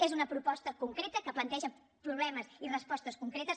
és una proposta concreta que planteja problemes i respostes concretes